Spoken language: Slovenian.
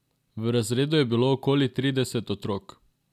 V razredu je bilo okoli trideset otrok.